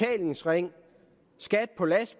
regering